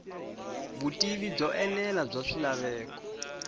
vutivi byo enela bya swilaveko